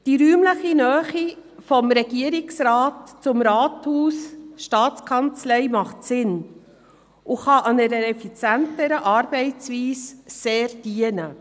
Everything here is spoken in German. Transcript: Die räumliche Nähe des Regierungsrates zum Rathaus und zu Staatskanzlei macht Sinn und kann einer effizienteren Arbeitsweise sehr dienen.